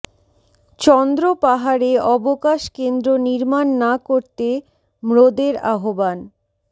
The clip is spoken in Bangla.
চন্দ্র পাহাড়ে অবকাশ কেন্দ্র নির্মাণ না করতে ম্রোদের আহ্বান